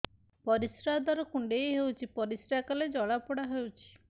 ପରିଶ୍ରା ଦ୍ୱାର କୁଣ୍ଡେଇ ହେଉଚି ପରିଶ୍ରା କଲେ ଜଳାପୋଡା ହେଉଛି